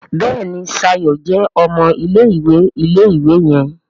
Béèni Shayo jé ọmọ ilé-ìwé ilé-ìwé yen.